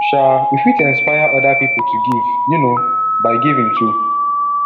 um we fit inspire oda pipo to give um by giving too